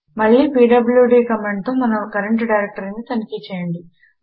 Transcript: మళ్ళీ పీడ్ల్యూడీ కమాండుతో మన కరంట్ డైరెక్టరీని తనిఖి చేయండి